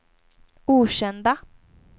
okända